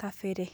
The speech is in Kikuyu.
kabere.